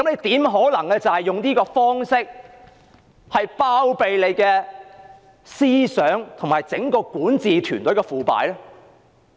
試問怎可能以這種方式包庇整個管治團隊的腐敗？